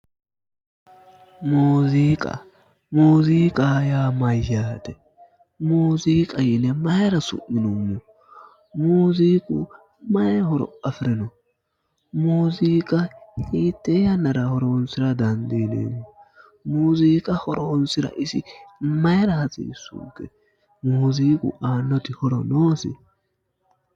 muziiqa muziiqa yaa mayyaate muziiqa yine mayiira su'minoonni muziiqu mari horo afirino muziiqa hiitte yannara horonsira dandiineemmo muziiqa horonsira isi mayira hasiissunke muziiqu aannoti horo noosi?